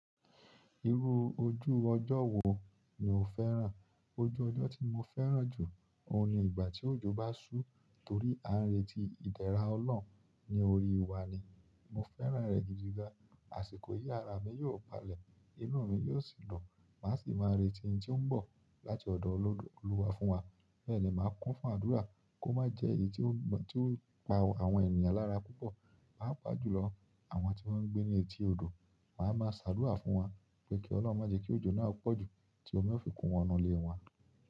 Irú ojú ọjọ́ wo ni o fẹ́ràn? Ojú ọjọ́ tí mo fẹ́ràn jù, òun ni ìgbà tí òjò bá ṣú torí a ń retí ìdéra Ọlọ́run ní orí wa ni, mo fẹ́ràn rẹ gidiga. Àṣìkò yí ara mi yóò balẹ̀, inú mi yóò sì dùn màá sì máa retí ẹniti ó ń ti oun bo láti ọ̀dọ̀ Olúwa fún wa. Bẹ́ẹ̀ ni màá kún fún àdúrà kó má jẹ́ èyí tí ó ti o pa àwọn ènìyàn lára púpọ̀, pàapaà jùlọ àwọn tí wọ́n ń gbé ní etí odò, màá ma ṣàdúrà fún wọn pé kí Ọlọ́run má je kí òjò náà pọ̀jù tí ómi o fi kún wọn ínú ilé wọn.